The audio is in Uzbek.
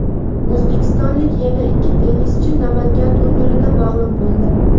O‘zbekistonlik yana ikki tennischi Namangan turnirida mag‘lub bo‘ldi.